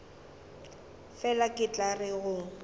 fela ke tla re go